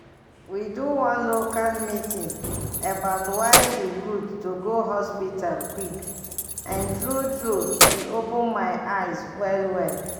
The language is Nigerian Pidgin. we do one local meeting about why e good to go hospital quick and true true e open my eyes well well.